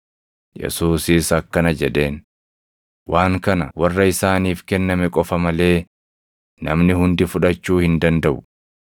Yesuusis akkana jedheen; “Waan kana warra isaaniif kenname qofa malee namni hundi fudhachuu hin dandaʼu.